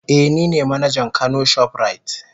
Eh nine manajan kano shoprite.